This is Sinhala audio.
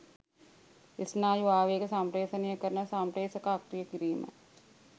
ස්නායු ආවේග සම්ප්‍රේෂණය කරන සම්ප්‍රේෂක අක්‍රිය කිරීම